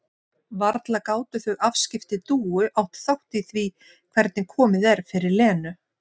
Varla gátu þau afskipti Dúu átt þátt í því hvernig komið er fyrir Lenu?